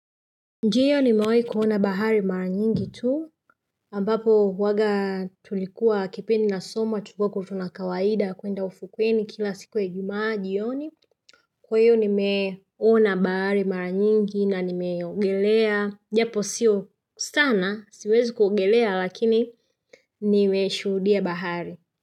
Ndio nimewai kuona bahari mara nyingi tuu ambapo huwaga tulikuwa kipindi na soma tulikuako tuna kawaida kwenda ufukweni kila siku ya ijumaa jioni kwahiyo ni meona bahari mara nyingi na ni meongelea japo siyo sana siwezi kuongelea lakini nimeshudia bahari.